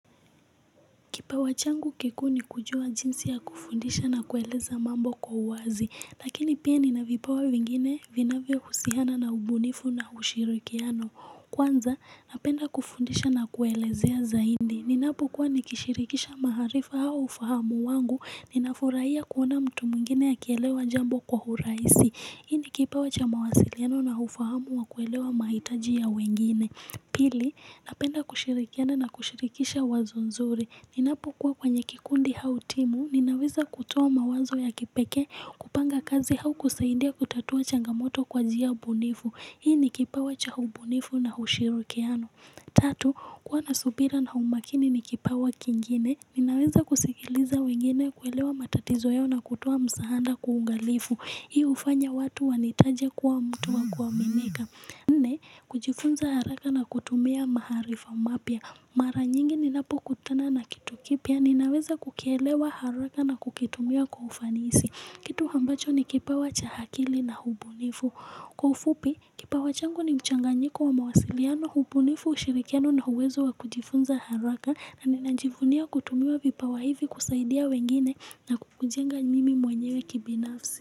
Kipawa changu kikuu ni kujua jinsi ya kufundisha na kueleza mambo kwa wazi, lakini pia nina vipawa vingine vinavyousiana na ubunifu na ushirikiano. Kwanza, napenda kufundisha na kuelezea zaidi. Ninapo kuwa nikishirikisha maaarifa au ufahamu wangu, ninafurahia kuona mtu mwngine akielewa jambo kwa urahisi. Hii ni kipawa cha mawasiliano na ufahamu wa kuelewa mahitaji ya wengine. Pili, napenda kushirikiana na kushirikisha wazo nzuri. Ninapo kuwa kwenye kikundi au timu, ninaweza kutoa mawazo ya kipekee kupanga kazi au kusaidia kutatua changamoto kwa njia ubunifu. Hii ni kipawa cha ubunifu na ushirikiano. Tatu, kuwa na subira na umakini ni kipawa kingine. Ninaweza kusikiiliza wengine kuelewa matatizo yao na kutoa msaada kwa uangalifu. Hii hufanya watu wanitaje kuwa mtu wa kuaminika. Nne, kujifunza haraka na kutumia maaarifa mapya. Mara nyingi ninapo kutana na kitu kipya, ninaweza kukielewa haraka na kukitumia kwa ufanisi. Kitu ambacho ni kipawacha akili na ubunifu. Kwa ufupi, kipawa changu ni mchanganyiko wa mawasiliano ubunifu, ushirikiano na uwezo wa kujifunza haraka na ninajivunia kutumia vipawa hivi kusaidia wengine na kujenga mimi mwenyewe kibinafsi.